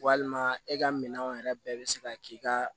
Walima e ka minɛnw yɛrɛ bɛɛ bɛ se ka k'i ka